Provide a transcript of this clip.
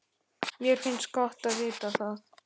Mér finnst gott að vita það.